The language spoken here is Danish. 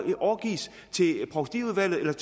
overgives til provstiudvalgene